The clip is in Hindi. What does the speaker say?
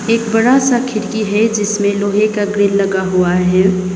एक बड़ा सा खिड़की है जिसमें लोहे का ग्रिल लगा हुआ है।